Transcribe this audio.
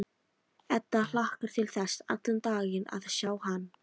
Edda hlakkar til þess allan daginn að sjá hann.